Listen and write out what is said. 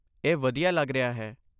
ਇਹ ਵਧੀਆ ਲੱਗ ਰਿਹਾ ਹੈ।